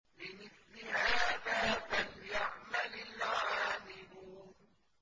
لِمِثْلِ هَٰذَا فَلْيَعْمَلِ الْعَامِلُونَ